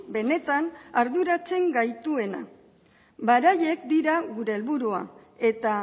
benetan arduratzen gaituena beraiek dira gure helburua eta